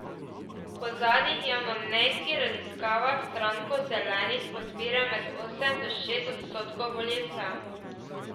Po zadnjih javnomnenjskih raziskavah stranko Zelenih podpira med osem do šest odstotkov volivcev.